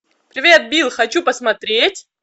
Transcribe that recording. привет бил хочу посмотреть